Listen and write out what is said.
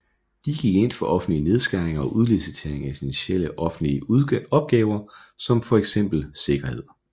De gik ind for offentlige nedskæringer og udlicitering af essentielle offentlige opgaver som fx sikkerhed